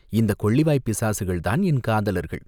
"இந்தக் கொள்ளிவாய்ப் பிசாசுகள்தான் என் காதலர்கள்.